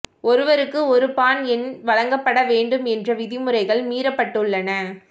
ஒருவருக்கு ஒரு பான் எண் வழங்கப்பட வேண்டும் என்ற விதிமுறைகள் மீறப்பட்டுள்ளன